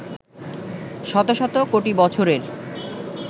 শত শত কোটি বছরের